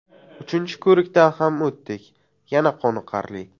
Uchinchi ko‘rikdan ham o‘tdik yana qoniqarli.